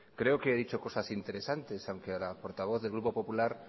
creo que he dicho cosas interesantes aunque a la portavoz del grupo popular